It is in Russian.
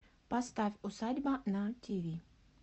поставь усадьба на тв